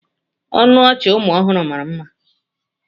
Ọnụ ọchị ụmụ ọhụrụ mara mma.